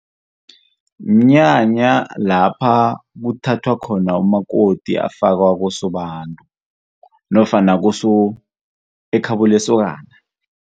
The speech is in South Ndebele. Mnyanya lapha kuthathwa khona umakoti afakwa kosobantu nofana ekhabo lesokana.